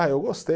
Ah, eu gostei.